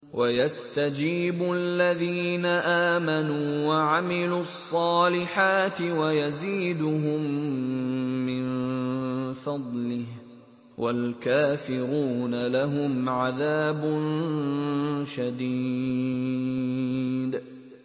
وَيَسْتَجِيبُ الَّذِينَ آمَنُوا وَعَمِلُوا الصَّالِحَاتِ وَيَزِيدُهُم مِّن فَضْلِهِ ۚ وَالْكَافِرُونَ لَهُمْ عَذَابٌ شَدِيدٌ